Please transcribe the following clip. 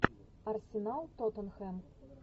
арсенал тоттенхэм